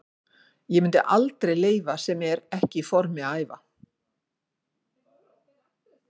Ég myndi aldrei leyfa sem er ekki í formi að æfa.